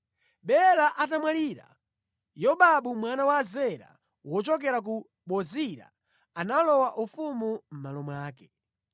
Bela atamwalira, Yobabu mwana wa Zera wochokera ku Bozira analowa ufumu mʼmalo mwake.